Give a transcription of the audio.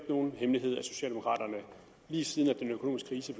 nogen hemmelighed at socialdemokraterne lige siden den økonomiske krise